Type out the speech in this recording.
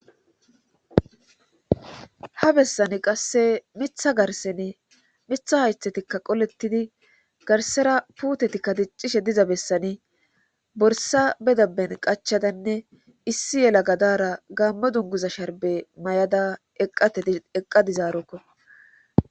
ha bessani qasse miiththa garsen miiththa haythetikka qolettidi garsera puutetikka diccishe diza bessani borsa be dabben qachadanne issi yelaga dara gaammo dunguza sharbe mayada eqqa dizarokko.